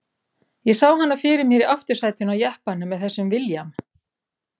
Ég sá hana fyrir mér í aftursætinu í jeppanum með þessum William.